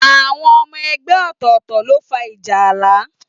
Àwọn ọmọ ẹgbẹ́ ọ̀tọ̀ọ̀tọ̀ ló fa ìjà ààlà.